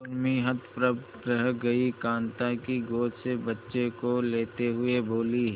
उर्मी हतप्रभ रह गई कांता की गोद से बच्चे को लेते हुए बोली